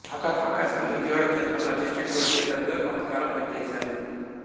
ఆకాశవాణి విజయవాడ కేంద్రంలో assistant producer గా కొంతకాలం పనిచేశారు